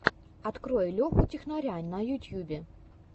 открой леху технаря на ютьюбе